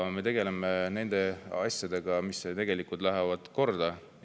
Me tegeleme nende asjadega, mis tegelikult korda lähevad.